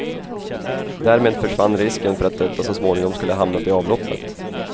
Därmed försvann risken för att detta så småningom skulle hamnat i avloppet.